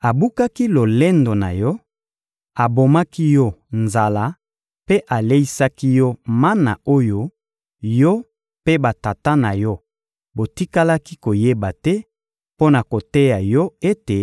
Abukaki lolendo na yo, abomaki yo nzala mpe aleisaki yo mana oyo yo mpe batata na yo botikalaki koyeba te, mpo na koteya yo ete